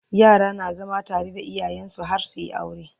yara na zama tare da iyayensu har suyi aure